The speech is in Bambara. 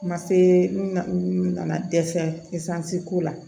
Ma se munnu nana dɛsɛ ko la